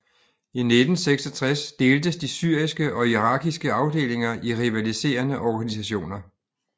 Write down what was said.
I 1966 deltes de syriske og irakiske afdelinger i rivaliserende organisationer